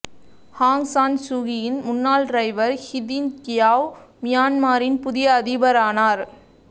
ஆங் San சூகியின் முன்னாள் driver Htin Kyaw மியான்மரின் புதிய அதிபரானார்